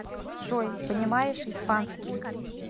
джой понимаешь испанский